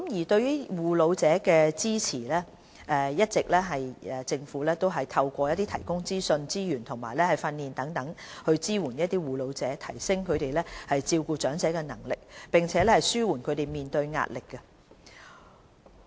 對於護老者支援，政府一直以來透過提供資訊、資源及訓練等方式支援護老者，提升他們照顧長者的能力，並紓緩他們面對的壓力。